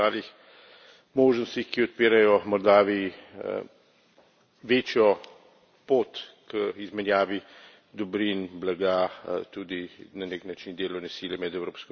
možnostih, ki odpirajo Moldaviji večjo pot k izmenjavi dobrin, blaga, tudi na nek način delovne sile med Evropsko unijo in Moldavijo.